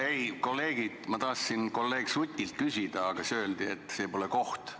Ei, kolleegid, ma tahtsin kolleeg Sutilt küsida, aga siis öeldi, et see pole koht.